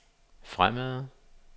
fremad